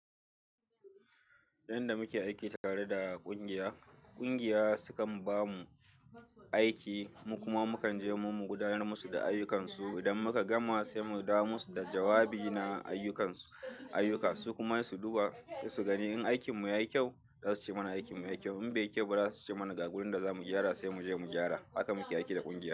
Idan muke aiki tare da ƙungiya, ƙungiya sukan ba mu aiki mu kuma mu kan je mu gudanar musu da ayyukan su. Idan muka gama sai mu dawo musu da jawabi na ayyukansu, su kuma su duba su gani in aikin mu yayi kyau, za su ce mana aikin mu yayi kyau. In bai kyau ba za su ce mana ga wurin da za mu gyara sai mu je mu gyara. Haka muke aiki da ƙungiya.